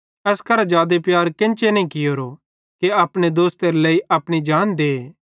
एस करां जादे प्यार केन्चे नईं कियोरो कि कोई अपने दोस्तां केरे लेइ अपनी जान दे